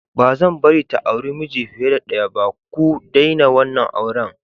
Ba'zan bari ta auri miji fiye da ɗaya ba, ku daina wannan auren!!